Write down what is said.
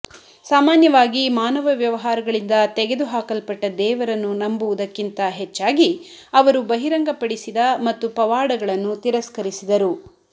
ಸಾಮಾನ್ಯವಾಗಿ ಮಾನವ ವ್ಯವಹಾರಗಳಿಂದ ತೆಗೆದುಹಾಕಲ್ಪಟ್ಟ ದೇವರನ್ನು ನಂಬುವುದಕ್ಕಿಂತ ಹೆಚ್ಚಾಗಿ ಅವರು ಬಹಿರಂಗಪಡಿಸಿದ ಮತ್ತು ಪವಾಡಗಳನ್ನು ತಿರಸ್ಕರಿಸಿದರು